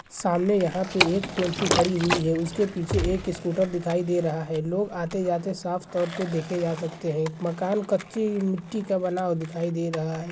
सामने यहाँ पे एक टेंपू खड़ी हुई है उसके पीछे एक स्कूटर दिखाई दे रहा है लोग आते-जाते साफ तौर पर देखे जा सकते है मकान कच्ची मिट्टी का बना हुआ दिखाई दे रहा है।